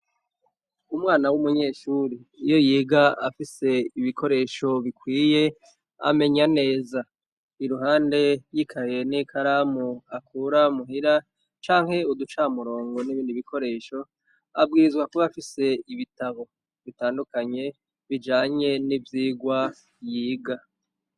Umwana w'umunyeshuri iyo yiga afise ibikoresho bikwiye amenya neza, iruhande yikaye n'ikaramu akura muhira canke uducamurongo n'ibindi bikoresho abwirizwa kuba afise ibitabo bitandukanye bijanye n'ivyigwa yiga.